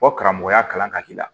Fɔ karamɔgɔya kalan ka k'i la